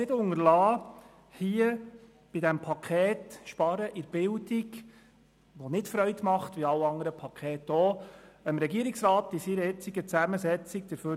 Ich möchte es nicht unterlassen, dem Regierungsrat in seiner jetzigen Zusammensetzung zu danken.